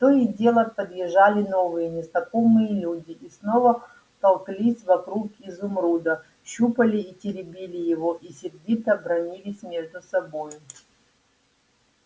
то и дело подъезжали новые незнакомые люди и снова толклись вокруг изумруда щупали и теребили его и сердито бранились между собою